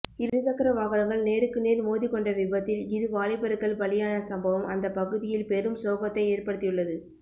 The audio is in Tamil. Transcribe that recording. இருசக்கர வாகனங்கள் நேருக்குநேர் மோதி கொண்ட விபத்தில் இரு வாலிபர்கள்பலியான சம்பவம் அந்தபகுதியில் பெரும் சோகத்தை ஏற்படுத்தியுள்ளது